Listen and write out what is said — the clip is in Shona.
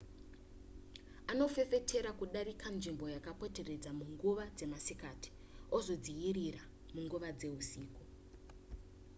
anofefetera kudarika nzvimbo yakapoteredza munguva dzemasikati ozodziyirira munguva dzeusiku